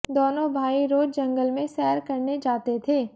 दोनों भाई रोज़ जंगल में सैर करने जाते थे